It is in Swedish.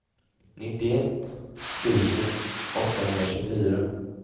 nittioett tusen åttahundratjugofyra